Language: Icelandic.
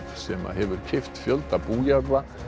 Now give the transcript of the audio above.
sem hefur keypt fjölda bújarða